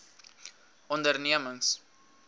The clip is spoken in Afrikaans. ondernemings